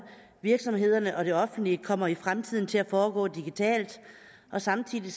virksomhederne og det offentlige kommer i fremtiden til at foregå digitalt samtidig